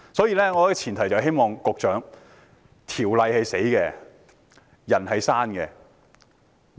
因此，我希望對局長說，條例是死的，人是活的。